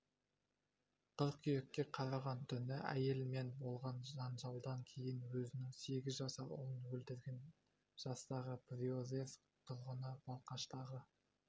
қыркүйекке қараған түні әйелімен болған жанжалдан кейін өзінің сегіз жасар ұлын өлтірген жастағы приозерск тұрғыны балқаштағы